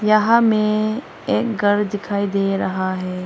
यहां में एक घर दिखाई दे रहा है।